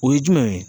O ye jumɛn ye